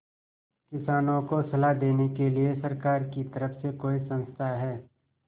किसानों को सलाह देने के लिए सरकार की तरफ से कोई संस्था है